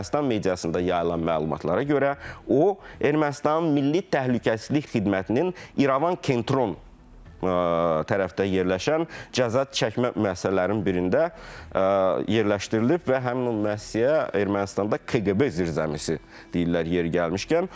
Ermənistan mediasında yayılan məlumatlara görə, o Ermənistanın milli təhlükəsizlik xidmətinin İrəvan Kentron tərəfdə yerləşən cəza çəkmə müəssisələrinin birində yerləşdirilib və həmin o müəssisəyə Ermənistanda KQB zirzəmisi deyirlər yeri gəlmişkən.